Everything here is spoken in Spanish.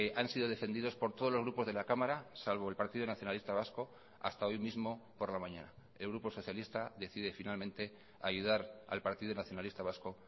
han sido defendidos por todos los grupos de la cámara salvo el partido nacionalista vasco hasta hoy mismo por la mañana el grupo socialista decide finalmente ayudar al partido nacionalista vasco